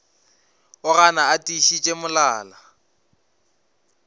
o gana a tiišitše molala